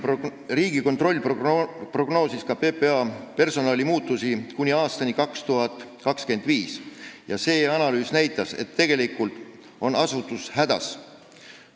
Riigikontroll prognoosis ka PPA personalimuudatusi kuni aastani 2025 ja see analüüs näitas, et tegelikult on asutus hädas.